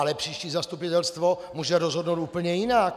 Ale příští zastupitelstvo může rozhodnout úplně jinak.